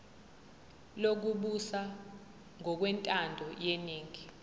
lokubusa ngokwentando yeningi